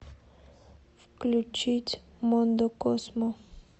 включить мондо козмо